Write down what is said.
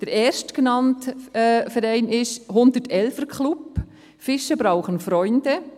Der erstgenannte Verein ist der «111er Club – Fische brauchen Freunde».